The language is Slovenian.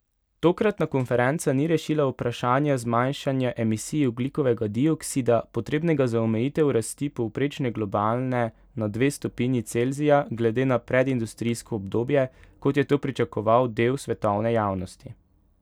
Tokratna konferenca ni rešila vprašanja zmanjšanja emisij ogljikovega dioksida, potrebnega za omejitev rasti povprečne globalne na dve stopinji Celzija glede na predindustrijsko obdobje, kot je to pričakoval del svetovne javnosti.